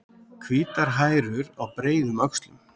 Hvítar hærur á breiðum öxlum.